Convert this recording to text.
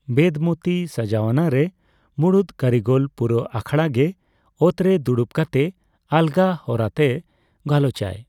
ᱵᱮᱫᱢᱚᱛᱤ ᱥᱟᱡᱟᱣᱱᱟᱨᱮ, ᱢᱩᱬᱩᱫ ᱠᱟᱹᱨᱤᱜᱚᱞ ᱯᱩᱨᱟᱹ ᱟᱠᱷᱲᱟᱜᱮ ᱚᱛᱨᱮ ᱫᱩᱲᱩᱵ ᱠᱟᱛᱮ ᱟᱞᱜᱟ ᱦᱚᱨᱟᱛᱮ ᱜᱟᱞᱚᱪᱟᱭ ᱾